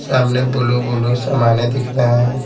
सामने blue blue सामाने दिख रहे हैं।